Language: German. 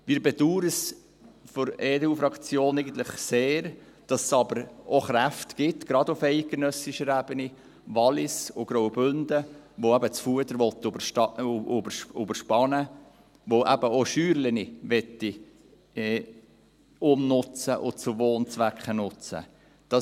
Wir von der EDU-Fraktion bedauern eigentlich sehr, dass es aber auch Kräfte gibt – gerade auf eidgenössischer Ebene: Wallis und Graubünden –, die das Fuder überladen wollen, die eben auch kleine Scheunen umnutzen und zu Wohnzwecken nutzen wollen.